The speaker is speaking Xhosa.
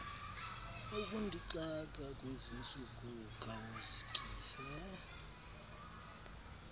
ukundixaka kwezintsuku khawuzikise